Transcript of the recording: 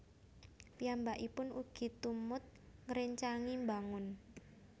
Piyambakipun ugi tumut ngréncangi mbangun